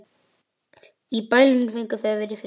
Í bælinu fengju þau að vera í friði.